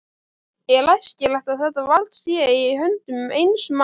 Er æskilegt að þetta vald sé í höndum eins manns?